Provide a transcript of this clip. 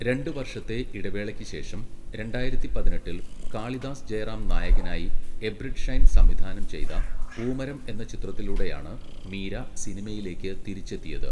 രണ്ട് വർഷത്തെ ഇടവേളയ്ക്ക് ശേഷം, രണ്ടായിരത്തി പതിനെട്ടിൽ കാളിദാസ് ജയറാം നായകനായി എബ്രിഡ് ഷൈൻ സംവിധാനം ചെയ്ത 'പൂമരം' എന്ന ചിത്രത്തിലൂടെയാണ് മീര സിനിമയിലേക്ക് തിരിച്ചെത്തിയത്.